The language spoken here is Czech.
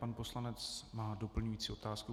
Pan poslanec má doplňující otázku.